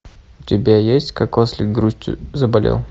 у тебя есть как ослик грустью заболел